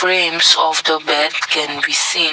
bens of the bed can be seen.